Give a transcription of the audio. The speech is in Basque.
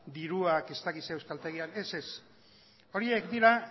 diruak ez dakit zer euskaltegian ez ez horiek dira